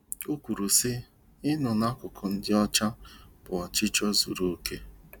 O kwuru sị, “Ịnọdụ n'akụkụ ndị ọcha bụ ọchịchọ zuru okè